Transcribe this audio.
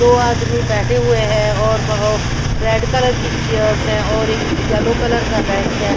दो आदमी बैठे हुए हैं और अ रेड कलर की चेयर्स हैं और एक यलो कलर का बेंच है।